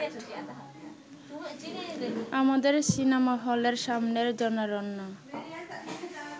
আমাদের সিনেমা-হলের সামনের জনারণ্য